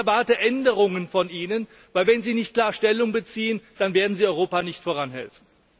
Ich erwarte Änderungen von Ihnen, denn wenn Sie nicht klar Stellung beziehen, dann werden Sie Europa nicht voranhelfen.